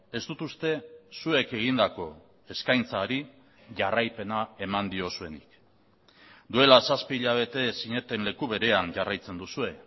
ez dut uste zuek egindako eskaintzari jarraipena eman diozuenik duela zazpi hilabete zineten leku berean jarraitzen duzue